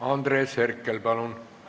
Andres Herkel, palun!